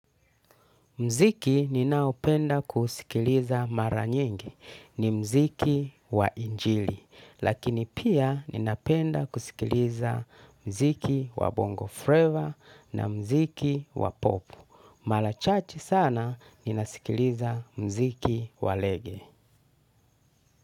Mziki ninaopenda kusikiliza mara nyingi. Ni mziki wa injili. Lakini pia ninapenda kusikiliza mziki wa bongo freva na mziki wa popu. Mara chache sana ninasikiliza mziki wa rege.